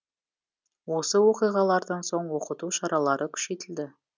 осы оқиғалардан соң оқыту шаралары күшейтілді